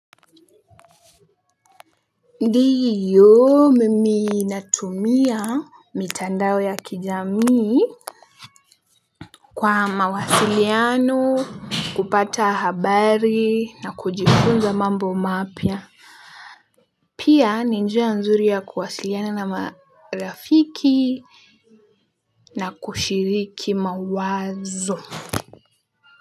Ndiyo mimi natumia mitandao ya kijamii kwa mawasiliano kupata habari na kujifunza mambo mapya. Pia ni njia nzuri ya kuwasiliana na marafiki na kushiriki mawazo.